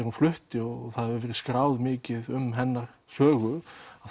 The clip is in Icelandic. hún flutti þá hefur verið skráð mikið um hennar sögu